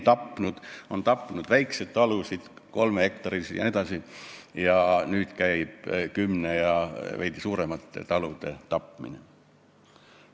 See on tapnud väikseid kolmehektarilisi talusid ja nüüd käib kümnehektariliste ja veidi suuremate talude tapmine.